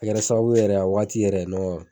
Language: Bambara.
sababu yɛrɛ a wagati yɛrɛ